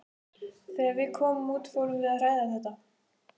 Þegar við komum út fórum við að ræða þetta.